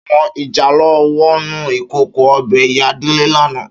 Áwòn ijálò wònú ikókó òbè Iyá Dele làná